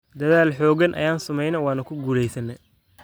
“Dadaal xoogan ayaan sameynay waana ku guuleysanay.